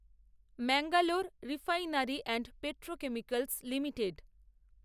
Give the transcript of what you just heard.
Mangalore refinery and petrochemicals limited